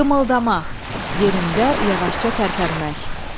Qımıldamaq, yerində yavaşca tərpənmək.